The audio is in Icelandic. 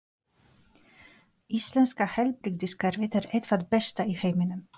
Íslenska heilbrigðiskerfið er eitt það besta í heiminum.